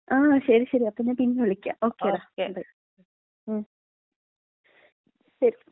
ആ ശരി ശരി. അപ്പം ഞാൻ പിന്നെ വിളിക്കാ. ഓകെ ഡാ ബൈ, ശരി.